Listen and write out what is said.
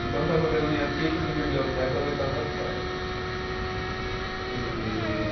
Então, eu estava vendo a minha ficha de biblioteca da oitava série. E